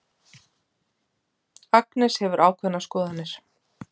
Agnes hefur ákveðnar skoðanir.